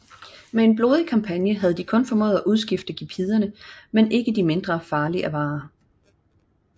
Med en blodig kampagne havde de kun formået at udskifte gepiderne med de ikke mindre farlige avarere